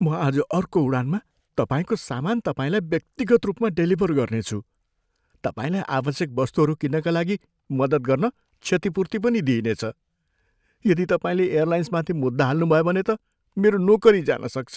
म आज अर्को उडानमा तपाईँको सामान तपाईँलाई व्यक्तिगत रूपमा डेलिभर गर्नेछु। तपाईँलाई आवश्यक वस्तुहरू किन्नका लागि मद्दत गर्न क्षतिपूर्ति पनि दिइने छ। यदि तपाईँले एयरलाइन्समाथि मुद्दा हाल्नुभयो भने त मेरो नोकरी जान सक्छ।